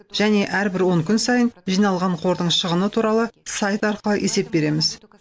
және әрбір он күн сайын жиналған қордың шығыны туралы сайт арқылы есеп береміз